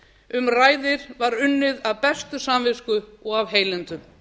um ræðir var unnið af bestu samvisku og af heilindum